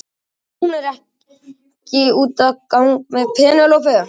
Nei, hún er ekki úti að gang með Penélope.